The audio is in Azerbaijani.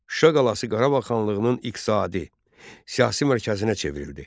Şuşa qalası Qarabağ xanlığının iqtisadi, siyasi mərkəzinə çevrildi.